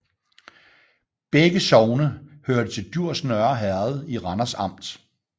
Begge sogne hørte til Djurs Nørre Herred i Randers Amt